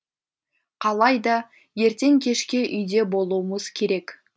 қалайда ертең кешке үйде болуымыз керек